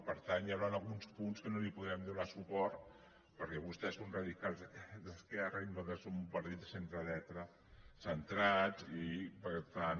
per tant hi hauran alguns punts que no hi podrem donar suport perquè vostès són radicals d’esquerra i nosaltres som un partit de centredreta centrats i per tant